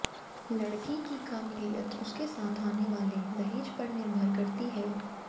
लड़की की काबिलियत उसके साथ आने वाले दहेज पर निर्भर करती है